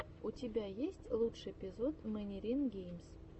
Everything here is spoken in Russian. у тебя есть лучший эпизод мэнирин геймс